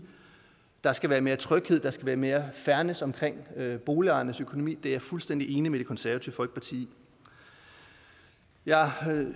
der skal være mere tryghed der skal være mere fairness omkring boligejernes økonomi er jeg fuldstændig enig med det konservative folkeparti i jeg